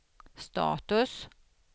status